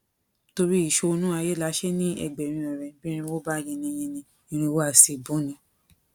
torí ìṣonú ayé là á ṣe ń ní ẹgbẹrin ọrẹ bí irínwó bá yinni yinni irínwó a sì búni